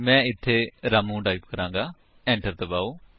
ਮੈਂ ਇੱਥੇ ਰਾਮੂ ਟਾਈਪ ਕਰਾਂਗਾ ਐਟਰ ਦਬਾਓ